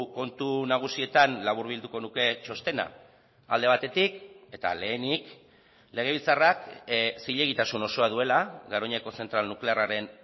kontu nagusietan laburbilduko nuke txostena alde batetik eta lehenik legebiltzarrak zilegitasun osoa duela garoñako zentral nuklearraren